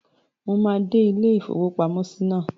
Mo máa dé ilé-ìfowópamọ́sí náà